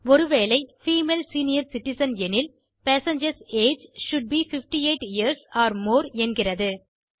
ஒருவேளை female senior citizen எனில் passengers age should be 58 years or more என்கிறது